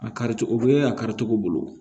A kari cogo o bɛ a kari cogo bolo